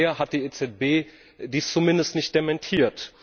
Bisher hat die EZB dies zumindest nicht dementiert.